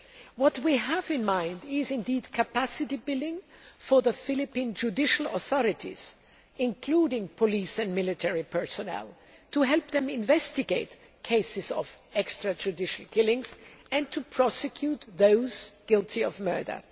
What we have in mind is capacity building for the Philippine judicial authorities, including police and military personnel, to help them investigate cases of extrajudicial killings and to prosecute those guilty of murder.